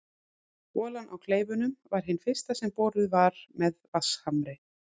Holan á Kleifunum var hin fyrsta sem boruð var með vatnshamri.